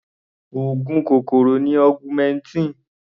Oògùn kòkòrò ni augmentin.